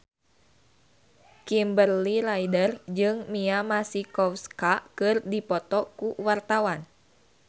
Kimberly Ryder jeung Mia Masikowska keur dipoto ku wartawan